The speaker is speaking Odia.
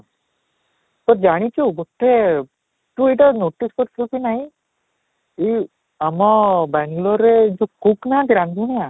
ତୁ ଜାଣିଛୁ ଗୋଟେ ତୁ ଏଇଟା notice କରିଥିବୁ କି ନାଇଁ ଏଇ ଆମ ବାଙ୍ଗାଲୁରରେ ଯଉ cook ନାହାନ୍ତି ରାନ୍ଧୁଣା